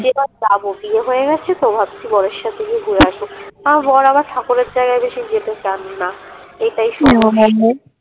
যাবো বিয়ে হয়ে গেছে তো ভাবছি বরের সাথে গিয়ে ঘুরে আসবো আমার বড় আবার ঠাকুরের জায়গায় বেশি যেতে চান না এটাই